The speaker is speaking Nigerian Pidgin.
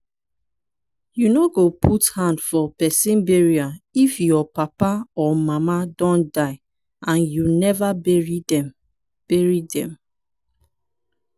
you no go put hand for pesin burial if your papa or mama don die and you never bury dem. bury dem.